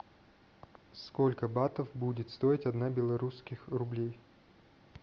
сколько батов будет стоить одна белорусских рублей